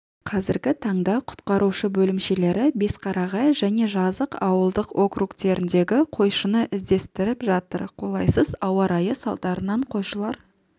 қазіргі таңда құтқарушы бөлімшелері бесқарағай жәнежазық ауылдық округтеріндегі қойшыны іздестіріп жатыр қолайсыз ауа райы салдарынан қойшылар